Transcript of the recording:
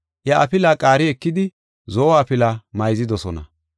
Iya afilaa qaari ekidi zo7o afila mayzidosona.